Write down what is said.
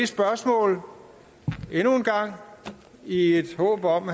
spørgsmålet endnu en gang i et håb om